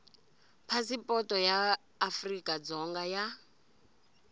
phasipoto ya afrika dzonga ya